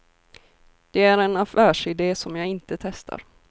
Det är en affärside som jag inte testar.